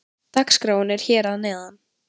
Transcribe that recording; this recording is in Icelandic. Dagskráin er hér að neðan.